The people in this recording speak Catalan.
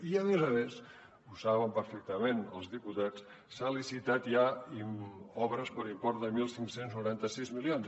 i a més a més ho saben perfectament els diputats s’han licitat ja obres per import de quinze noranta sis milions